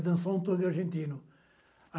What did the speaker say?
Dançar um tango argentino.